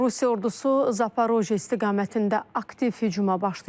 Rusiya ordusu Zaporoje istiqamətində aktiv hücuma başlayıb.